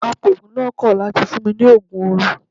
Apoògùn náà kọ̀ láti fún mi ní Ògùn orun.